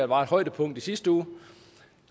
var et højdepunkt i sidste uge